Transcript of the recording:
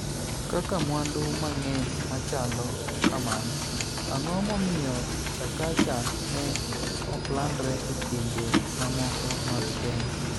Kaka mwandu mang'eny machalo kamano, ang'o momiyo Chakacha ne oklandre e pinje mamoko mag Kenya?